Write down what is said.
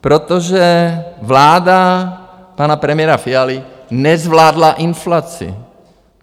Protože vláda pana premiéra Fialy nezvládla inflaci.